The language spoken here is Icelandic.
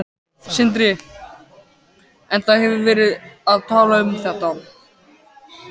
Sindri: En það hefur verið talað um þetta?